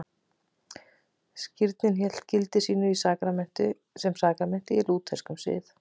Skírnin hélt gildi sínu sem sakramenti í lútherskum sið.